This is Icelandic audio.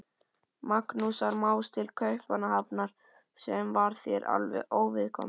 Magnúsar Más til Kaupmannahafnar, sem var þér alveg óviðkomandi.